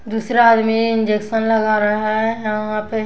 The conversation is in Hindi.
दूसरा आदमी इंजेक्शन लगा रहा है यहाँ पे --